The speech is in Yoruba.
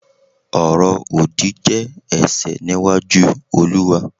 oro odi je ẹ̀ṣẹ̀ níwájú Oluwa